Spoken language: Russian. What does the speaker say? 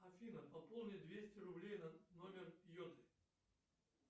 афина пополни двести рублей на номер йоты